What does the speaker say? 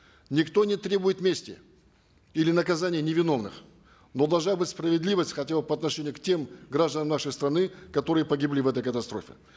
никто не требует мести или наказания невиновных но должна быть справедливость хотя бы по отношению к тем гражданам нашей страны которые погибли в этой катастрофе